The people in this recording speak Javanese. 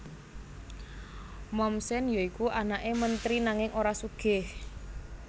Mommsen ya iku anake menteri nanging ora sugih